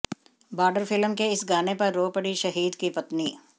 border film के इस गाने पर रो पड़ी शहीद की पत्नी